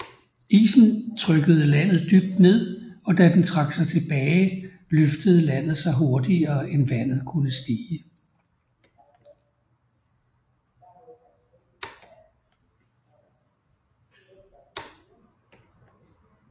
Isen trykkede landet dybt ned og da den trak sig tilbage løftede landet sig hurtigere end vandet kunne stige